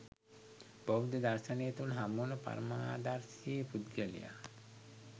බෞද්ධ දර්ශනය තුළ හමුවන පරමාදර්ශී පුද්ගලයා